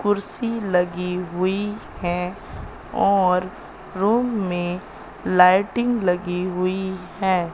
कुर्सी लगी हुई हैं और रूम में लाइटिंग लगी हुई है।